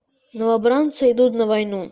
новобранцы идут на войну